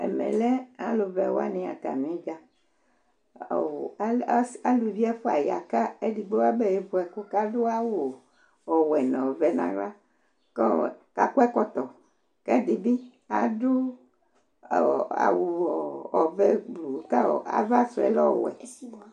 Ɛmɛlɛ alʋvɛ waŋi atami ʋdza Aluvi ɛfʋa ya kʋ ɛɖigbo abe vu ɛku kʋ aɖu awu ɔwɛ ŋu ɔvɛ ŋu ava Ɛɖi bi aɖu awu ɔvɛ kʋ ava sʋɛ lɛ ɔwɛ